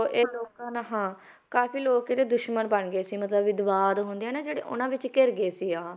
ਇਹ ਲੋਕਾਂ ਨਾਲ ਹਾਂ ਕਾਫ਼ੀ ਲੋਕ ਇਹਦੇ ਦੁਸ਼ਮਣ ਬਣ ਗਏ ਸੀ ਮਤਲਬ ਹੁੰਦੇ ਆ ਨਾ ਜਿਹੜੇ ਉਹਨਾਂ ਵਿੱਚ ਘਿਰ ਗਏ ਸੀ ਆਹ